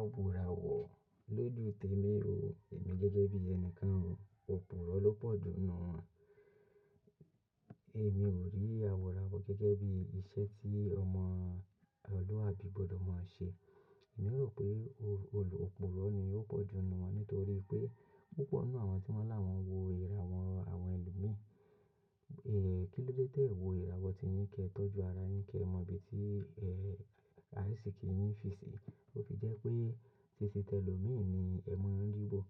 Àworà wọ̀ lójú Témi o. Èmi gẹ́gẹ́ bí ẹnìkan o. Ewò lọ pọ̀ jù ninu. Èmi ò rí àwo ràwọ̀ gẹ́gẹ́ bí iṣẹ́ tí ọmọ ọmọ́luàbí gbọ̀dọ̀ máa ń ṣe. Èmi rò pé olùpúrò ni óò pọ̀ jù nínu won, nítorí pé púpọ̀ ninú àwọn tí wọ́n ni awọn wo ìràwọ́, àwọn ẹlòmí. Kí ló dé tì e wo ìràwọ́ ti yin kẹ tọ́jú ara yin kẹ mọ ibi tí àìsíkí yín fi si. Ó fi jẹ́ pé títí tẹ lòmí ní ẹ̀ maa ríwò.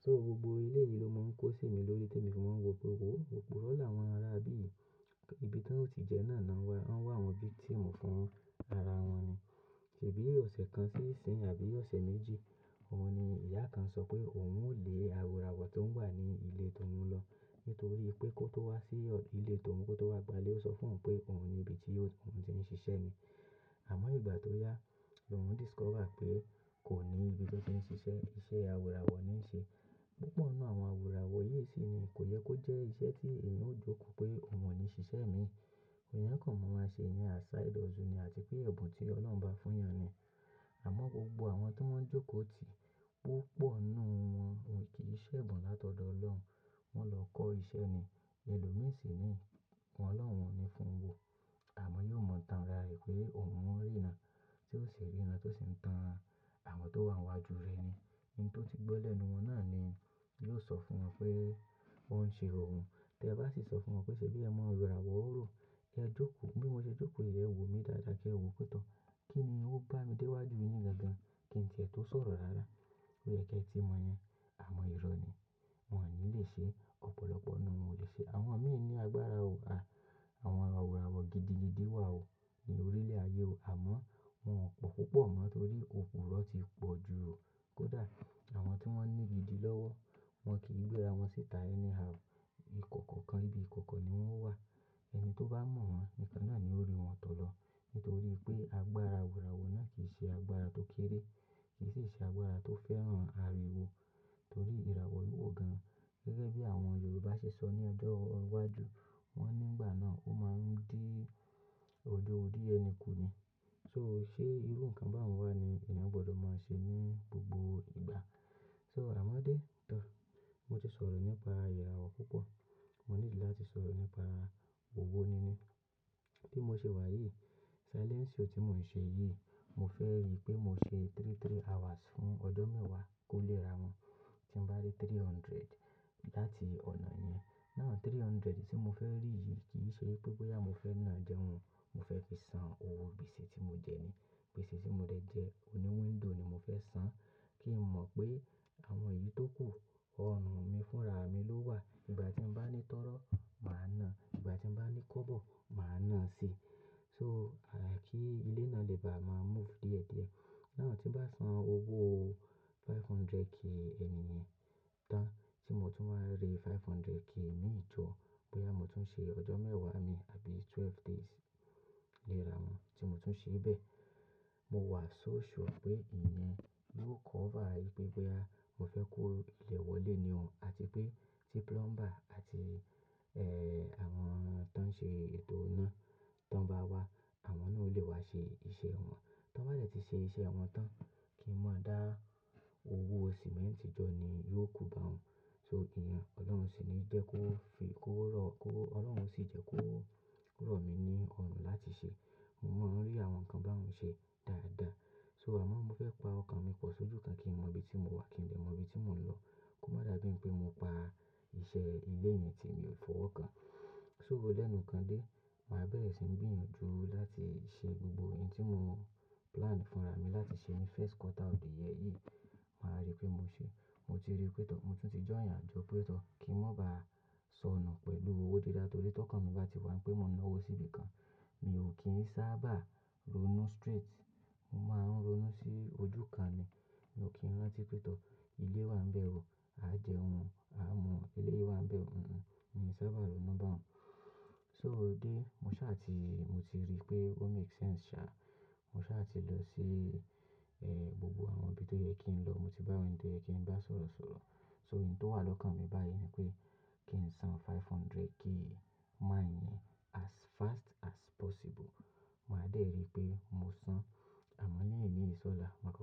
So gbogbo eléyìí ló máa ń kó sí mi lórí tí èmi fi máa ń wo pé, òwò òpúrò ni awọ́n ará ibí yì ibi ti woń ò tì jẹ́ náà ní wọ́n wa àwọn victim fún ara wọn ni. Sèbí ọ̀sẹ̀ kan sí ìsinyí àbí ọ̀sẹ̀ méjì, ọ̀un ni ìyá kan sọ pé òun ò lé àwo ràwọ̀ tó ń wà ní ilé tó oún lọ, nítorí pé kó tó wá sí ilé tó oún kó tó wá gba ilé, ó sọ fún oun pé òun ni ibi tí òun ti ń ṣiṣẹ́ ni. Àmọ́ ìgbà tó yá, lóun discover pé kò ní ibi bí ó ti ń ṣiṣẹ́, iṣẹ́ àwo iràwọ̀ ní ń ṣe. Púpọ̀ ninú àwọn àwo ràwọ̀ yìí síi ni, kò yẹ kó jẹ́ iṣẹ́ tí ènìyàn ó jókòó pé òun ò ní ṣiṣẹ́ mi. Eeyan kàn n mu ra e ṣere ní asá odọ̀ọ̀ temi àti pé ẹ̀bùn tí Ọlọ́run bá fún ènìyàn ni. Àmọ́ gbogbo àwọn tí wọ́n jókòó tì, púpọ̀ ninú wọn won kì í ṣẹ̀bùn látọ̀dọ̀ Ọlọ́run. Wọ́n lọ kọ́ iṣẹ́ ni. Èlòmí síi ni, Ọlọ́run ò ní fún wo. Àmọ́ yóò mọ̀ tánra rẹ̀ pé òun ò rí irán, tí ó ṣe rí irán, tó si ń tan àwọn tó wà n wájú rẹ̀ ni. Oun tó ti gbọ́ lẹ́nu wọn náà ni yóò sọ fún wọ̀n pé wọ́n ń ṣe òun. Tẹ bá sì sọ fún wọ̀n pé ṣe bí ẹ mọ iràwọ̀ ròò, ẹ jókòó, bí mo ṣe jókòó yi, ẹ wò mí dáadáa, ki ẹ wò pé tọ. Kíni ó ń bá mi déwájú yín gan gan. Kí ǹ tí ẹ tó sọ̀rọ̀ rárá, loyẹ ki ẹ tí mo iyẹn, àmo ìrọ̀ ni. Wọn ò ní lè ṣe, ọ̀pọ̀lọpọ̀ ninú wọn ò lè ṣe. Àwọn mìí ní agbára o. Àwọn àwo ràwọ̀ gidi gidi wà o ní orílẹ̀ ayé o. Àmọ́ wọ́n kò púpọ̀ mọ́ nítorí òpúrò ti pọ̀ jù o. Kódà, àwọn tí wọ́n ní gidi lọ́wọ́, wọ́n kì í gbéra wọn síta. Anyhow, ìkọ̀kọ̀ kan ibi ìkọ̀kọ̀ ni wọ́n wà. Ẹni tó bá mọ̀ wọ́n, nìkan náà ni ó rí wọn tọ̀ lọ. Nítorí pé agbára àwo ràwọ̀ náà kì í ṣe agbára tó kéré, kì sií ṣe agbára tó fẹ́ràn ariwo. Nitorí ìràwọ̀ wíwò gan. Gẹ́gẹ́ bí àwọn Yorùbá ṣe sọ ní ọjọ́ iwájú, wọ́n nígbà náà ó máa ń dí ọ̀jọ́ orí ẹni ku ni. So ṣe irú nǹkan báun wà ni eeyàn gbọdọ̀ máa ṣe ní gbogbo ìgbà. So àmọ́ dé, to, mo ti sọ̀rọ̀ nípa ìrà wọ̀ púpọ̀. Mo nidí láti sọ̀rọ̀ nípa owo níní. Tí mo ṣe wà yìí, silencii tí mò ń ṣe yìí, mo fẹ́ rí pé mo ṣe three three hours fún ọjọ́ mẹ́wàá kó lé ra wọn. Tí n bá rí 300 láti ọ̀nà yẹn. Náà 300 tí mo fẹ́ rí yìí kì í ṣe pé bọ́yà mo fẹ́ náà jẹun. Mo fẹ́ fi san owó ibíiṣẹ́ tí mo jẹ ni. Gbese tí mo dẹ̀ jẹ, oní window ni mo fẹ́ san. Kí n mọ̀ pé àwọn yìí tó kù ọrùn mi fúnra mi ló wà. Ìgbà tí n bá ní tọ́rọ́, mà á nà. Ìgbà tí n bá ní kọ́bọ̀, mà á nà síi. So kí ilé náà lè bà á máa move díẹ̀díẹ̀. Náà tí n bá san owó 500k ti mo jẹ enì yen tán, tí mo tún wqa rí 500k mìí jọ́, bọ́yà mo tún ṣe ọjọ́ mẹ́wàá mii àbí 12 days léra wọn, tí mo tún ṣee bẹ́ẹ̀, mo wà so sure pé ìyẹn yóò cover wipé bọ́yà mo fẹ́ kó ilẹ̀ wọlé ní ò àti pé tí plumber àti, àwọn tán ṣe ètò iná, tí wọ́n bá wá, àwọn náà ó lè wá ṣe iṣẹ́ wọn. Tí wọ́n bá dẹ̀ ti ṣe iṣẹ́ wọn tán, kí n maa dá, owó sìmẹ́ǹtì jọ́ ni yóò kù báun. So ìyẹn, Ọlọ́run ṣì ní jẹ́ kó fi kó rọ̀ kó, Ọlọ́run ṣì jẹ́ kó rọ̀mi ní ọrùn láti ṣe. Mo ń rí àwọn nǹkan báyii ṣe dáadáa. So àmọ́ mo fẹ́ pa ọkàn mi pọ̀ sójú kan kí n mọ ibi tí mo wà, kí n dè mọ ibi tí mò ń lọ. Kò má dà bí wipé mo pa iṣẹ́ ilé mì tí mi ò fọwọ́ kan. So lẹ́nu kan dé, mà á bẹ̀rẹ̀ sí ń gbiyanju láti ṣe gbogbo ntí mo plan fúnra mi láti ṣe ní first quarter of year yìí. Mà á rí pé mo ṣe. Mo ti rí pé tọ̀, mo tún ti join ajọ pé tọ̀, kí n mọ̀ ba sọnù pẹ̀lú owó dídá tórí tọ́kàn mi bá ti wá, pé mo ná owó sí ibi kan. Mi ò kì í sábà ronú straight. Mo máa ń ronú sí ojú kan ni. Mi o kìi rántí pé tọ̀, ilé wà ń bẹ̀ o, á jẹun, á mu, eléyìí wà ń bẹ̀ ò. Mi ò sábà ronú báun. So dé, mo ṣáá ti, mo ti rí pé ó make sense ṣa. Mo ṣáá ti lọ sí, gbogbo àwọn ibi tó yẹ kí n lọ. Mo ti bá wọ́n jẹ ti n bá sọ̀rọ̀ sọ̀rọ̀. So ohun tó wà lọ́kàn mi báyìí ni pé kí n san 500k mo iyẹn as fast as possible. Mà á dé rí pé mo san. Àmọ́ ní eníyi sọ́lá, mà ákọ́.